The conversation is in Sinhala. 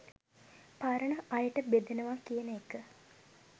පරණ අයට බෙදනවා කියන එක